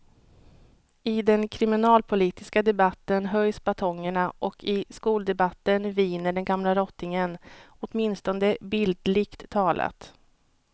I den kriminalpolitiska debatten höjs batongerna och i skoldebatten viner den gamla rottingen, åtminstone bildligt talat.